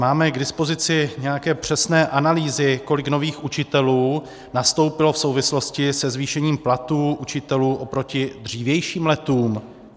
Máme k dispozici nějaké přesné analýzy, kolik nových učitelů nastoupilo v souvislosti se zvýšením platů učitelů oproti dřívějším letům?